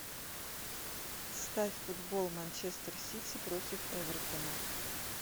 ставь футбол манчестер сити против эвертона